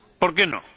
¿Por qué no?